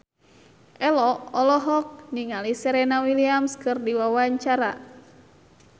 Ello olohok ningali Serena Williams keur diwawancara